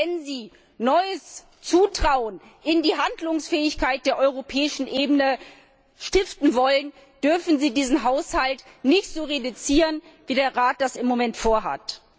Denn, wenn Sie neues Vertrauen in die Handlungsfähigkeit der europäischen Ebene stiften wollen, dürfen Sie diesen Haushalt nicht so kürzen, wie der Rat das im Moment vorhat.